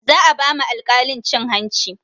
Za a ba ma alkalin cin hanci